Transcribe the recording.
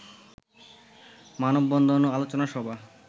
মানববন্ধন ও আলোচনা সভা